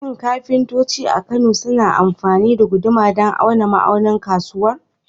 Shin kafintoci a Kano suna amfani da guduma don auna ma'aunin kusurwa?